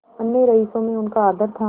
अन्य रईसों में उनका आदर था